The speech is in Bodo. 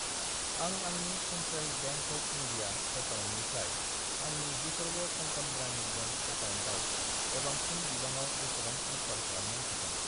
आं आंनि सेन्ट्रेल बेंक अफ इन्डिया एकाउन्टनिफ्राय आंनि विधर्व कंकन ग्रामिन बेंक एकाउन्टआव गोबांसिन बिबाङाव बेसेबां ट्रेन्सफार खालामनो हागोन?